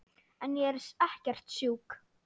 En ég er ekkert sjúk.